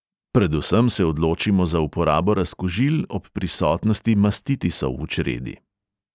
Predvsem se odločimo za uporabo razkužil ob prisotnosti mastitisov v čredi.